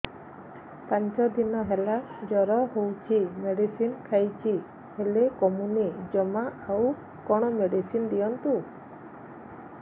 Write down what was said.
ପାଞ୍ଚ ଦିନ ହେଲା ଜର ହଉଛି ମେଡିସିନ ଖାଇଛି ହେଲେ କମୁନି ଜମା ଆଉ କଣ ମେଡ଼ିସିନ ଦିଅନ୍ତୁ